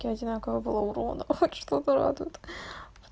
те одинаково было урона хоть что-то радует